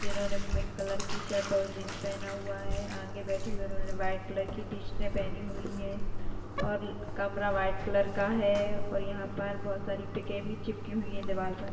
इनोने pink colour की shirt और jeans पेहना हुआ है आगे बैठी हुई उन्होंने व्हाइट कलर की टी शर्ट पहनी हुई है और कमरा व्हाइट कलर का है और यहा पर बहोत सारी पिके भी चिपकी हुई है दीवारपर--